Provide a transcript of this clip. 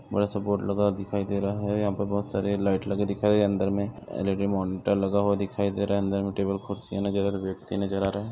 बड़ा सा बोर्ड लगा हुआ दिखाई दे रहा हे यहाँ पर बहुत सारे लाइट लगे दिखाई दे रहा हे अंदर में एल_इ_डी मॉनिटर लगा हुआ दिखाई दे रहा हे अंदर में टेबल कुर्सियां नज़र और व्यक्ति नज़र आ रहे हे।